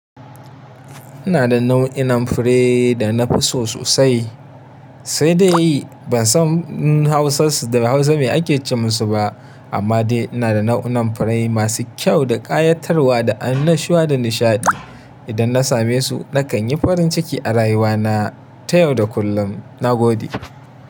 Ina da nau'inan fure da na fi so sosai, sai dai ban san hausarsu da Hausa mai ake ce musu ba. Amma dai ina da nau'inan furai masu kyau da ƙayatarwa da an nashiwa da nishaɗi. Idan na same su, na kan yi farin ciki a rayuwa na ta yau da kullum. Na gode.